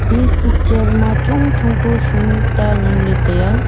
e picture ma chong chong ku shonu ta ngan ley tai a.